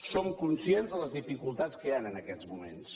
som conscients de les dificultats que hi han en aquests moments